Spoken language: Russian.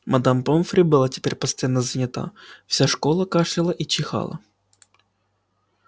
мадам помфри была теперь постоянно занята вся школа кашляла и чихала